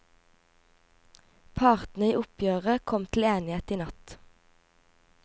Partene i oppgjøret kom til enighet i natt.